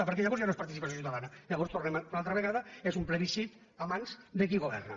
perquè llavors ja no és participació ciutadana llavors hi tornem una altra vegada és un plebiscit a mans de qui governa